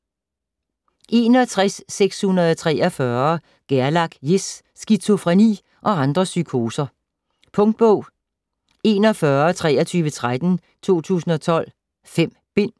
61.643 Gerlach, Jes: Skizofreni og andre psykoser Punktbog 412313 2012. 5 bind.